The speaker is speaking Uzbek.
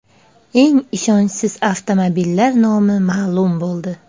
Eng ishonchsiz avtomobillar nomi ma’lum bo‘ldi.